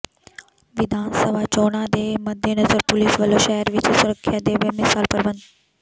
ਵਿਧਾਨ ਸਭਾ ਚੋਣਾਂ ਦੇ ਮੱਦੇਨਜ਼ਰ ਪੁਲਿਸ ਵੱਲੋਂ ਸ਼ਹਿਰ ਵਿਚ ਸੁਰੱਖਿਆ ਦੇ ਬੇਮਿਸਾਲ ਪ੍ਰਬੰਧ